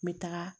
N bɛ taga